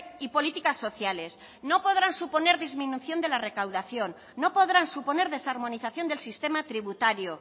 y políticas sociales no podrán suponer disminución de la recaudación no podrán suponer desarmonización del sistema tributario